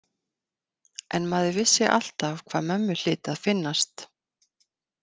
En maður vissi alltaf hvað mömmu hlyti að finnast.